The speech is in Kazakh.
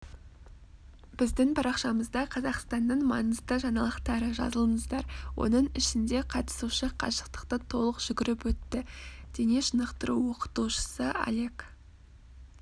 біздің парақшамызда қазақстанның маңызды жаңалықтары жазылыңыздар оның ішінде қатысушы қашықтықты толық жүгіріп өтті дене шынықтыруоқытушысы олег